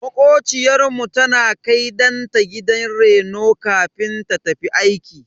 Makociyar mu tana kai danta gidan reno kafin ta tafi aiki.